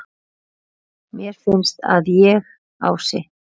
Mér finnst að ég, Ási